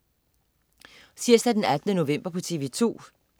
Tirsdag den 18. november - TV2: